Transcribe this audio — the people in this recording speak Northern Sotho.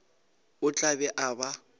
o tla be a ba